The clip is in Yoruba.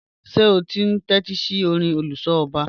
Ṣe o n tẹtisi ọ̀rìn oluso ọba?